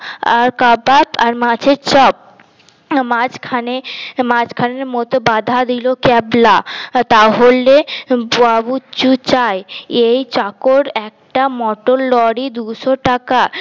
আর কাবাব আর মাছের চপ মাঝখানে মাঝখানের মধ্যে বাধা দিল ক্যাবলা তাহলে চাই এই চাকর একটা মোটর লরি দুইশো টাকা